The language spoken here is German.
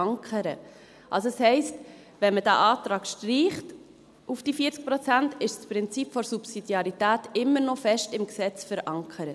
Also heisst das, wenn man diesen Antrag auf 40 Prozent streicht, ist das Prinzip der Subsidiarität immer noch fest im Gesetz verankert.